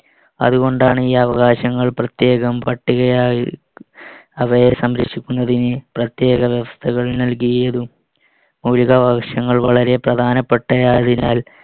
അതുകൊണ്ടാണ് ഈ അവകാശങ്ങൾ പ്രത്യേകം പട്ടികയായി അവയെ സംരക്ഷിക്കുന്നതിന് പ്രത്യേക വ്യവസ്ഥകൾ നൽകിയതും. മൗലികാവകാശങ്ങൾ വളരെ പ്രധാനപ്പെട്ട ആയതിനാൽ